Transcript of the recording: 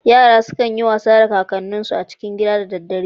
Yara sukan yi wasa da kakanninsu a cikin gida da dadare.